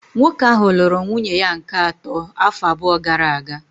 Nwoke ahụ lụrụ nwunye ya nke atọ afọ abụọ gara aga